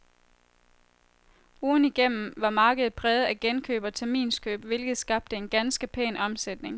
Ugen i gennem var markedet præget af genkøb og terminskøb, hvilket skabte en ganske pæn omsætning.